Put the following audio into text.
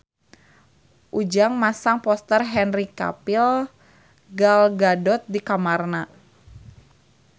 Ujang masang poster Henry Cavill Gal Gadot di kamarna